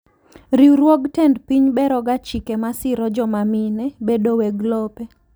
Riwruog tend piny beroga chike masiro jomamine bedo weg lope.